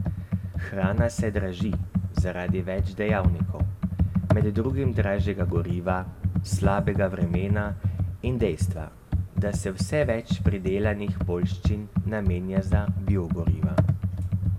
Hrana se draži zaradi več dejavnikov, med drugim dražjega goriva, slabega vremena in dejstva, da se vse več pridelanih poljščin namenja za biogoriva.